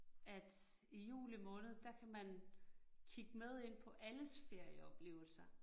At i juli måned, der kan man kigge med ind på alles ferieoplevelser